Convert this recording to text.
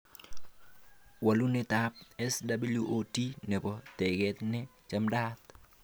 Walunetab SWOT nebo teket ne chamadaat